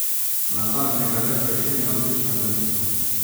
Nazadnje ga le prešine odlična zamisel ...